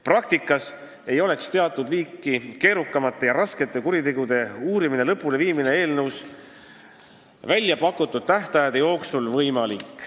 Praktikas ei oleks teatud liiki keerukamate ja raskete kuritegude uurimise lõpuleviimine eelnõus välja pakutud tähtaegade jooksul võimalik.